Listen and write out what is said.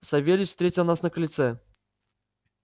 савельич встретил нас на крыльце